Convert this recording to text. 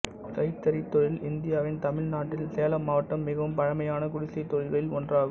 கைத்தறி தொழில் இந்தியாவின் தமிழ்நாட்டின் சேலம் மாவட்டத்தில் மிகவும் பழமையான குடிசைத் தொழில்களில் ஒன்றாகும்